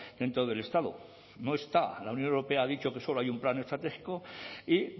dentro del estado no está la unión europea ha dicho que solo hay un plan estratégico y